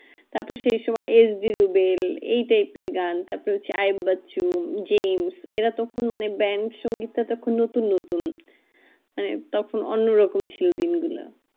তার পর সেই সময় এই type এর গান তার পর চেয়ে বাচু, জেমস এরা তখন মানে bande সঙ্গীতটা তখন নতুন নতুন মানে তখন অন্য রকম ছিল দিন গুলো